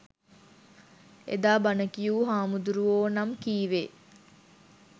එදා බණ කියූ හාමුදුරුවෝ නම් කීවේ